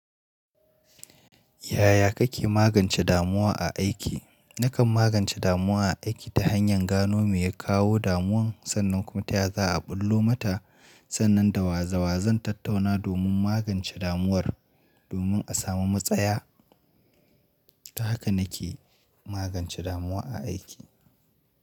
Yaya kake magance damuwa a aiki? Nakan magance damuwa a aiki ta hanyar gano me ya kawo damuwan sannan kuma ta ya za a ɓullo mata. Sannan dawa dawa zan tattauna domin magance damuwar domin a samu matsaya. Ta haka nake magance damuwa a aiki.